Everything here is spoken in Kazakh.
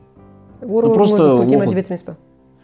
оруэллдың өзі көркем әдебиет емес пе